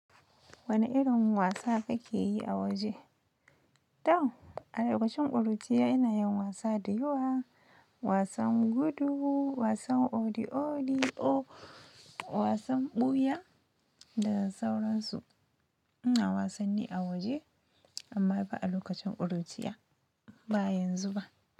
Wani irin wasa kake yi a waje? To, a lokacin ƙuruciya ina yin wasa da yawa. Wasan gudu, wasan odi odi'o wasan ɓuya da sauran su. Ina wasanni a waje amma ba a lokacin ƙuruciya ba yanzu ba.